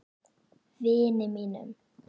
Vini mínum!